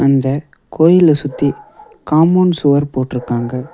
இந்த கோயில சுத்தி காம்பவுண் சுவர் போட்ருக்காங்க.